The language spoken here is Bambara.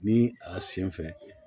Ni a sen fɛ